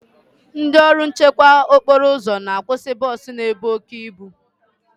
Ndị ọrụ nchekwa okporo ụzọ na akwụsị bọs na-ebu oke ibu.